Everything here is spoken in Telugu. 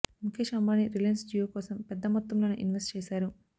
ముకేశ్ అంబానీ రిలయన్స్ జియో కోసం పెద్ద మొత్తంలోనే ఇన్వెస్ట్ చేశారు